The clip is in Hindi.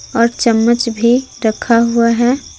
और चम्मच भी रखा हुआ है।